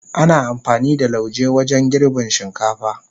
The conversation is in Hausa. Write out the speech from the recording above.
Ana amfani da lauje wajen girbin shinkafa.